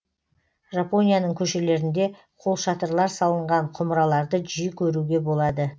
жапонияның көшелерінде қолшатырлар салынған құмыраларды жиі көруге болады